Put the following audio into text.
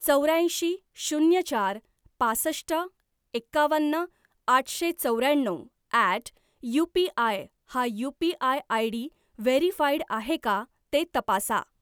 चौऱ्याऐंशी शून्य चार पासष्ट एकावन्न आठशे चौऱ्याण्णव ॲट यूपीआय हा यू.पी.आय. आयडी व्हेरीफाईड आहे का ते तपासा.